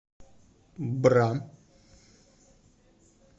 бра